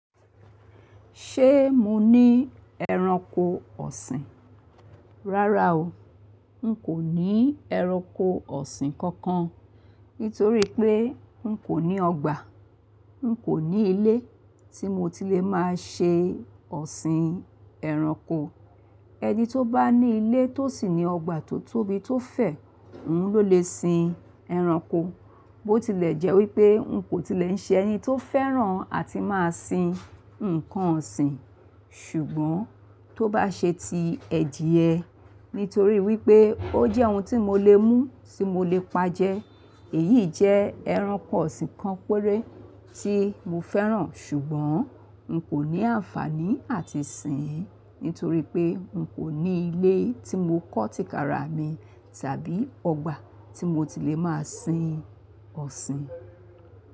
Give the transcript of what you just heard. Ṣé mo ní ẹranko ọ̀sìn? Rárá o. N kò ní ẹranko ọ̀sìn kankan nítorí pé n kò ní ọgbà, n kò ní ilé tí mo tilẹ̀ máa ṣe ọ̀sìn ẹranko. Ẹni tó bá ní ilé tó sì ní ọgbà tó tóbi tó fẹ̀, òun ló lè sin ẹranko. Bó tilẹ̀ jẹ́ wípé n kò tilẹ̀ ń ṣe ẹni tó fẹ́ràn àti máa sin ǹkan ọ̀sìn, ṣùgbọ́n tó bá ṣe ti ẹ̀die, nítorí wípé ó jẹ́ ohun tí mo lè mú tí mo lè pa jẹ. Èyí jẹ́ ẹranko ọ̀sìn kan péré tí mo fẹ́ràn ṣùgbọ́n n kò ní àǹfàní àti sìn ín nítorí pé n kò ní ilé tí mo kọ́ tìkára mi tàbí ọgbà tí mo tilẹ̀ máa sin ọ̀sìn.